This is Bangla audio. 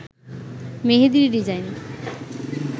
মেহেদীর ডিজাইন